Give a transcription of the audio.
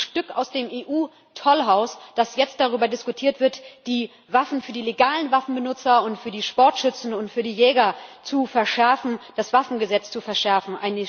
Es ist ein Stück aus dem EU Tollhaus, dass jetzt darüber diskutiert wird, das Waffengesetz für die legalen Waffenbenutzer und für die Sportschützen und für die Jäger zu verschärfen.